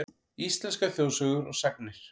Íslenskar þjóðsögur og sagnir.